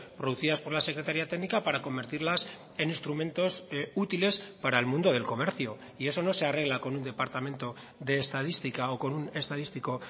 producidas por la secretaria técnica para convertirlas en instrumentos útiles para el mundo del comercio y eso no se arregla con un departamento de estadística o con un estadístico